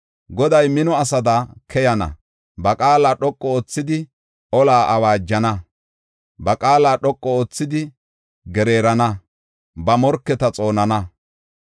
Goday mino asada keyana; ba qaala dhoqu oothidi ola awaajana. Ba qaala dhoqu oothidi gereerana; ba morketa xoonana.